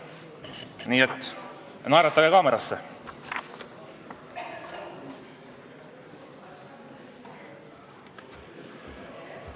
Nii et naeratage kaamerasse!